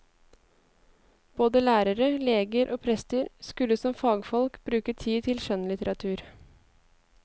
Både lærere, leger og prester skulle som fagfolk bruke tid til skjønnlitteratur.